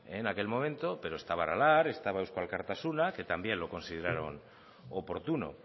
en aquel momento pero estaba aralar estaba eusko alkartasuna que también lo consideraron oportuno